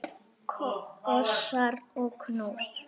Kossar og knús.